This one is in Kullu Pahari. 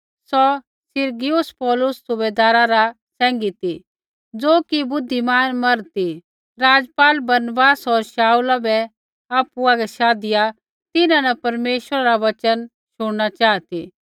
सौ Sergius Paulus सुबैदारा रा सैंघै ती ज़ो कि बुद्धिमान मर्द ती राज़पाल बरनबास होर शाऊला बै आपु हागै शाधिआ तिन्हां न परमेश्वरा रा वचन शुणना चाहा ती